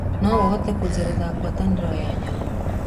noũhote kunjethera ngwataniro ya nyamũ